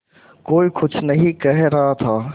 कोई कुछ नहीं कह रहा था